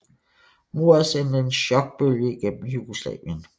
Mordet sendte en chokbølge igennem Jugoslavien